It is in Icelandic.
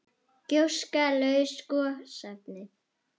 Gjóska- laus gosefni